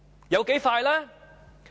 有多快呢？